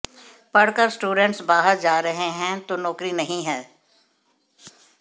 पढ़कर स्टूडेंट्स बाहर जा रहे हैं तो नौकरी नहीं है